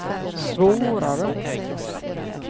svårare